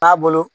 Taabolo